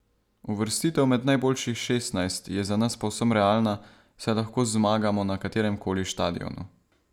Uvrstitev med najboljših šestnajst je za nas povsem realna, saj lahko zmagamo na katerem koli štadionu.